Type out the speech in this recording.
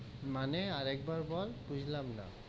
মানে, আর একবার বল, বুঝলাম না,